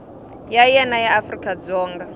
ya wena ya afrika dzonga